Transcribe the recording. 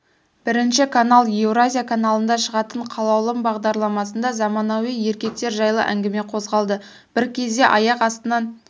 бірінші канал еуразия каналында шығатын қалаулым бағдарламасында заманауи еркектер жайлы әңгіме қозғалды бір кезде аяқ астынан